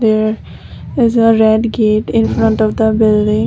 here is a red gate in front of the building.